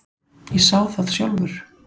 Ég sá það sjálfur!